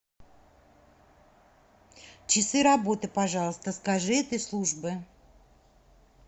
часы работы пожалуйста скажи этой службы